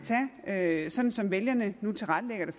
tage sådan som vælgerne nu tilrettelægger det